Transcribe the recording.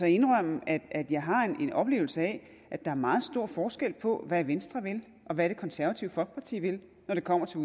indrømme at jeg har en oplevelse af at der er meget stor forskel på hvad venstre vil og hvad det konservative folkeparti vil når det kommer til